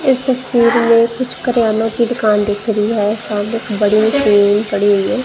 इस तस्वीर में कुछ क्रियानो की दुकान दिख रही है सामने एक बड़ी सी बड़ी है।